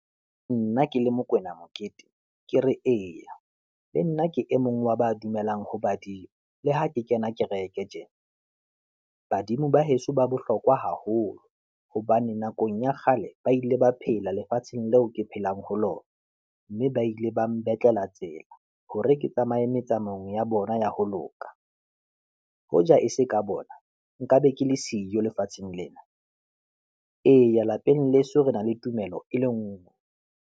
Nna ke le Mokoena Mokete, ke re eya, le nna ke e mong wa ba dumelang ho badimo le ha ke kena kereke tjena. Badimo ba heso ba bohlokwa haholo hobane nakong ya kgale ba ile ba phela lefatsheng leo ke phelang ho lona mme ba ile ba mbetlela tsela hore ke tsamaye metsamaong ya bona ya ho loka. Hoja e se ka bona, nkabe ke le siyo lefatsheng lena. Eya, lapeng leso re na le tumelo e le nngwe.